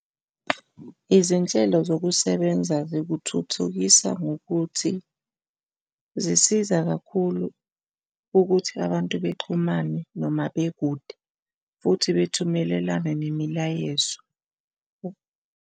Izinhlelo zokusebenza zikuthuthukisa ngokuthi zisiza kakhulu ukuthi abantu bexhumane noma bekude futhi bethumelelane nemilayezo.